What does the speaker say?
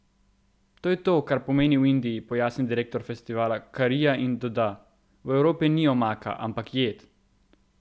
To je to, kar pomeni v Indiji, pojasni direktor festivala karija in doda: "V Evropi ni omaka, ampak jed.